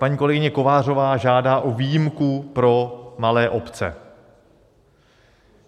Paní kolegyně Kovářová žádá o výjimku pro malé obce.